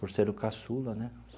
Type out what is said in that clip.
Por ser o caçula, né?